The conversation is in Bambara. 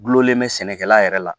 Gulɔlen bɛ sɛnɛkɛla yɛrɛ la